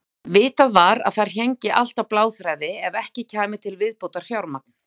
Vitað var að þar héngi allt á bláþræði ef ekki kæmi til viðbótarfjármagn.